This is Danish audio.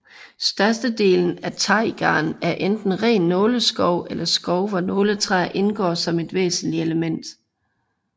Størstedelen af taigaen er enten ren nåleskov eller skov hvor nåletræer indgår som et væsentligt element